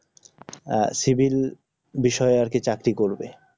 আহ civil বিষয়ে আর কি চাকরি করবে